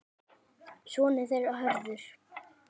Sonur þeirra Hörður.